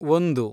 ಒಂದು